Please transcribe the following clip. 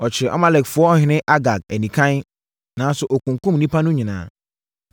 Ɔkyeree Amalekfoɔ ɔhene Agag anikann, nanso ɔkunkumm nnipa no nyinaa.